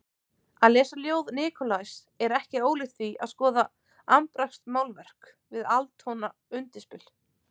Að lesa ljóð Nikolajs er ekki ólíkt því að skoða abstraktmálverk við atónalt undirspil.